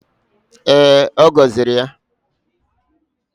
Ee, ọ gọziri ya